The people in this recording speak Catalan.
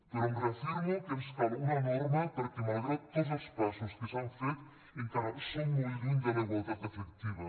però em reafirmo que ens cal una norma perquè malgrat tots els passos que s’han fet encara som molt lluny de la igualtat efectiva